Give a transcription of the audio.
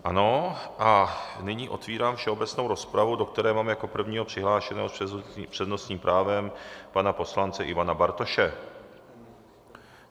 Ano a nyní otevírám všeobecnou rozpravu, do které mám jako prvního přihlášeného s přednostním právem pana poslance Ivana Bartoše.